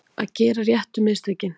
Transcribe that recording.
Að gera réttu mistökin